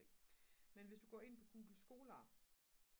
men hvis du går ind på google scholar